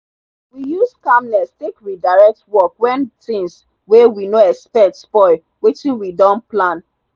we use calmness take redirect work when things wey we no expect spoil wetin we don plan.